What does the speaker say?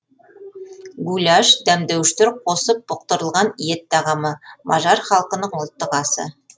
гуляш дәмдеуіштер қосып бұқтырылған ет тағамы мажар халқының ұлттық асы